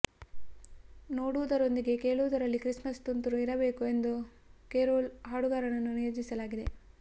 ನೋಡುವುದರೊಂದಿಗೆ ಕೇಳುವುದರಲ್ಲೂ ಕ್ರಿಸ್ಮಸ್ ತುಂತುರು ಇರಬೇಕು ಎಂದು ಕೆರೋಲ್ ಹಾಡುಗಾರರನ್ನು ನಿಯೋಜಿಸಲಾಗಿದೆ